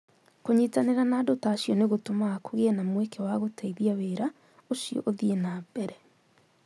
Kũnyitanĩra na andũ ta acio nĩ gũtũmaga kũgĩe na mweke wa gũteithia wĩra ũcio ũthiĩ na mbere